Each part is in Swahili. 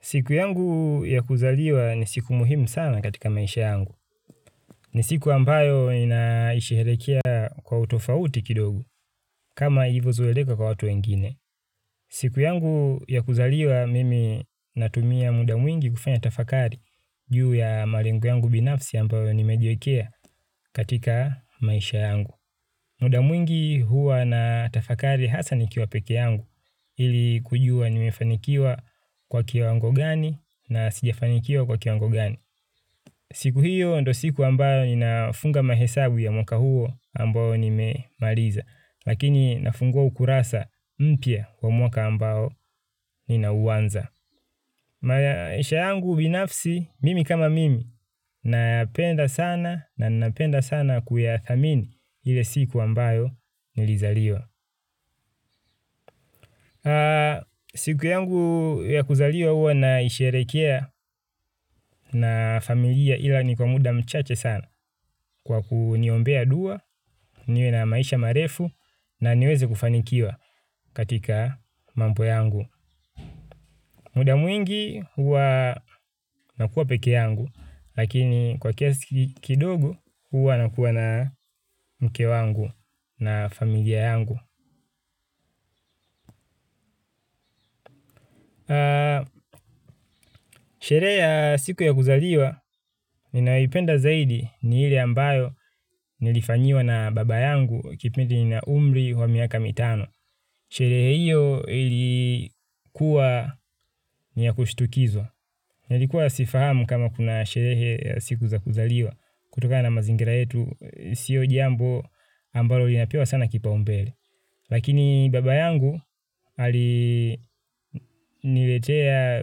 Siku yangu ya kuzaliwa ni siku muhimu sana katika maisha yangu. Ni siku ambayo ninaisheherekea kwa utofauti kidogo kama ilivyozoeleka kwa watu wengine. Siku yangu ya kuzaliwa mimi natumia muda mwingi kufanya tafakari juu ya malengo yangu binafsi ambayo nimejiekea katika maisha yangu. Muda mwingi huwa natafakari hasa nikiwa peke yangu ili kujua nimefanikiwa kwa kiwango gani na sijafanikiwa kwa kiwango gani. Siku hiyo ndio siku ambayo ninafunga mahesabu ya mwaka huo ambayo nimemaliza. Lakini nafungua ukurasa mpya wa mwaka ambayo ninauanza. Maisha yangu binafsi mimi kama mimi napenda sana na napenda sana kuyathamini ile siku ambayo nilizaliwa. Siku yangu ya kuzaliwa huwa naisherehekea na familia ila ni kwa muda mchache sana kwa kuniombea dua, niwe na maisha marefu na niweze kufanikiwa katika mambo yangu. Muda mwingi huwa nakuwa pekee yangu, lakini kwa kiasi kidogo huwa nakuwa na mke wangu na familia yangu. Sherehe ya siku ya kuzaliwa, ninayoipenda zaidi ni ile ambayo nilifanyiwa na baba yangu kipindi na umri wa miaka mitano. Sherehe hiyo ilikuwa ni ya kushtukizwa. Nilikuwa sifahamu kama kuna sherehe ya siku za kuzaliwa. Kutokana na mazingira yetu, sio jambo ambalo linapewa sana kipaumbele. Lakini baba yangu aliniletea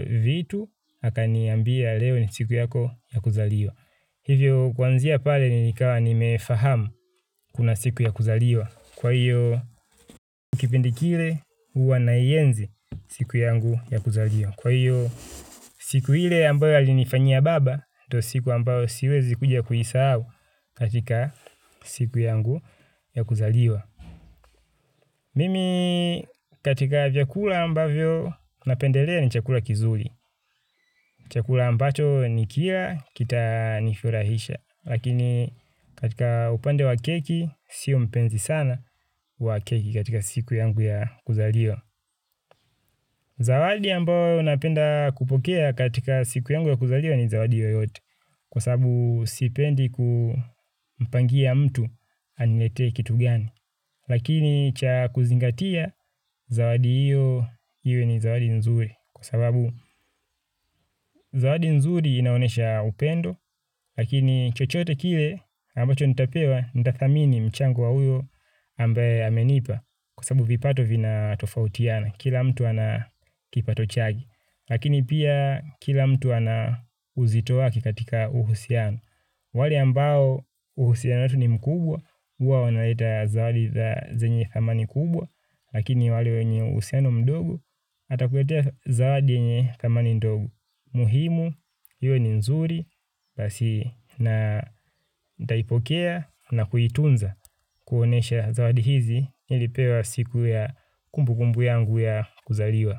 vitu, akaniambia leo ni siku yako ya kuzaliwa. Hivyo kuanzia pale nilikawa nimefahamu kuna siku ya kuzaliwa. Kwa hiyo kwa kipindi kile huwa naienzi siku yangu ya kuzaliwa. Kwa hiyo siku ile ambayo alinifanyia baba ndio siku ambayo siwezi kuja kuisahau katika siku yangu ya kuzaliwa. Mimi katika vyakula ambavyo napendelea ni chakula kizuri. Chakula ambacho nikila kitanifurahisha. Lakini katika upande wa keki, sio mpenzi sana wa keki katika siku yangu ya kuzaliwa. Zawadi ambao napenda kupokea katika siku yangu ya kuzaliwa ni zawadi yoyote. Kwa sababu sipendi kumpangia mtu aniletee kitu gani. Lakini cha kuzingatia, zawadi hiyo iwe ni zawadi nzuri. Kwa sababu zawadi nzuri inaonesha upendo lakini chochote kile ambacho nitapewa nitathamini mchango wa uyo ambaye amenipa. Kwa sababu vipato vina tofautiana kila mtu ana kipato chake. Lakini pia kila mtu ana uzito wake kakatika uhusiano. Wale ambao uhusiano wetu ni mkubwa huwa wanaleta zawadi za zenye thamani kubwa lakini wale wenye uhusiano mdogo atakuletea zawadi yenye thamani ndogo. Muhimu, hiyo ni nzuri, basi na ntaipokea na kuitunza kuonyesha zawadi hizi nilipewa siku ya kumbukumbu yangu ya kuzaliwa.